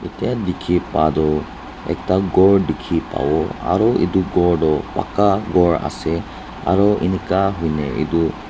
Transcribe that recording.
etia dikhi poa tu ekta ghor dikhi pabo aru etu ghor tu pakka ghor ase aru ineka hoiley etu--